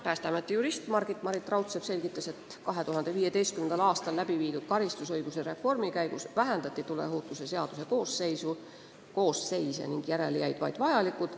Päästeameti jurist Margit-Marit Raudsepp selgitas, et 2015. aastal läbi viidud karistusõiguse reformi käigus vähendati tuleohutuse seaduse koosseise ning järele jäid vaid vajalikud.